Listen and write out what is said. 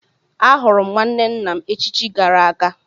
Ahụrụ m nwanne nna m echichi gara aga.